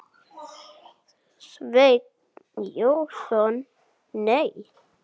Sveinn Jónsson Nei.